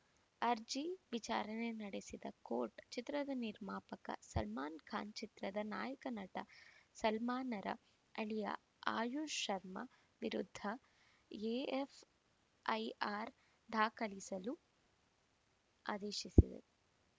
ಅರ್ಜಿ ವಿಚಾರಣೆ ನಡೆಸಿದ ಕೋರ್ಟ್‌ ಚಿತ್ರದ ನಿರ್ಮಾಪಕ ಸಲ್ಮಾನ್‌ ಖಾನ್‌ ಚಿತ್ರದ ನಾಯಕ ನಟ ಸಲ್ಮಾನ್‌ರ ಅಳಿಯ ಆಯುಷ್‌ ಶರ್ಮಾ ವಿರುದ್ಧ ಎಎಫ್‌ಐಆರ್‌ ದಾಖಲಿಸಲು ಆದೇಶಿಸಿದೆ